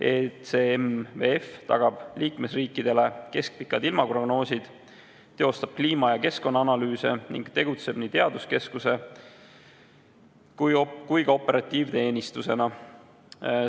ECMWF tagab liikmesriikidele keskpikad ilmaprognoosid, teostab kliima- ja keskkonnaanalüüse ning tegutseb nii teaduskeskuse kui ka operatiivteenistusena.